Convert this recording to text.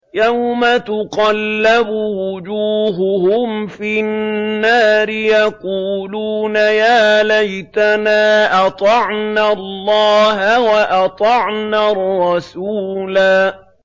يَوْمَ تُقَلَّبُ وُجُوهُهُمْ فِي النَّارِ يَقُولُونَ يَا لَيْتَنَا أَطَعْنَا اللَّهَ وَأَطَعْنَا الرَّسُولَا